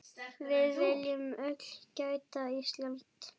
Við viljum öll grænt Ísland.